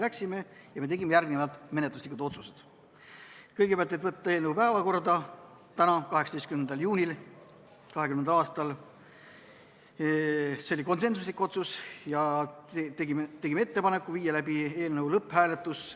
Need olid järgmised: kõigepealt otsustasime võtta eelnõu päevakorda tänaseks, 18. juuniks , ja tegime ettepaneku viia läbi eelnõu lõpphääletus .